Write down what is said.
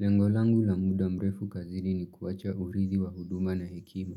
Lengo langu la muda mrefu kazini ni kuwacha uridhi wa huduma na hekima.